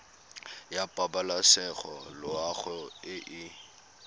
ya pabalesego loago e e